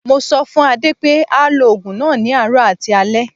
Mo sọ fún Adé pé á lo ogun náà ní àárọ̀ àti alẹ.